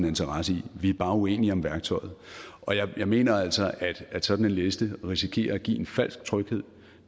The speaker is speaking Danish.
interesse i vi er bare uenige om værktøjet jeg mener altså at sådan en liste risikerer at give en falsk tryghed